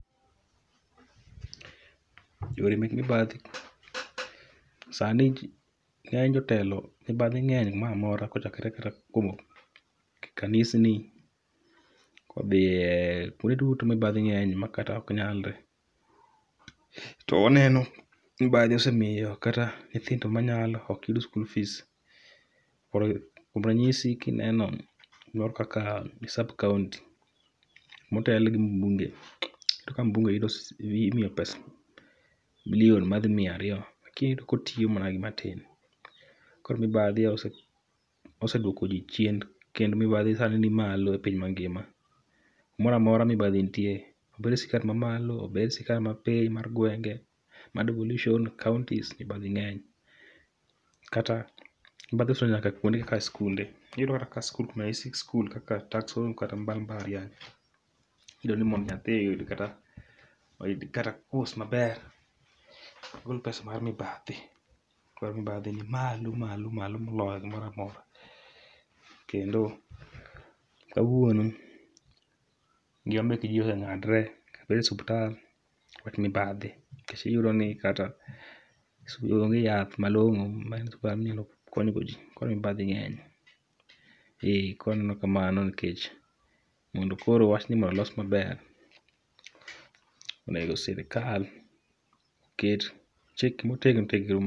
Yore mek mibadhi: sani ng'eny jotelo mibadhi ng'eny kumoramora kochakore kata kowuok kanisni kodhiye kuonde duto mibadhi ng'enye makata ok nyalre. To waneno mibadhi osemiyo nyithindo manyalo ok yud school fees. Koro kuom ranyisi kineno kumoro kaka sub-county motelne gi mbunge, to ka mbunge yudo imiyo pesa milion madhi miya ariyo. Lakini iyudo kotiyo mana gi matin. Koro mibadhi ose osedwoko ji chien kendo mibadhi sani ni malo e piny mangima. Kumoramora mibadhi nitie, obed e sirkal ma malo obed e sirkal mapiny mar gwenge, mar devolution, counties, mibadhi ng'enye. Kata mibadhi osedonjo nyaka kuonde kaka skunde, iyudo ka skul kuno kata kaka takson kata bang' mbalariany. Idwani mondo nyathi oyud kata, oyud kata kos maber, igol pesa mar mibadhi. Koro mibadhi ni malo malo malo moloyo gimoramora. Kendo kawuono ngima mek ji oseng'adre kabede osuptal wach mibadhi. Nikech iyudo ni kata onge yath malong'o ma inya kata konygo ji, koro mibadhi ng'eny. Ee koro aneno kamano nikech mondo koro wachni mondo los maber, onego sirikal ket chike motegno tegno mo.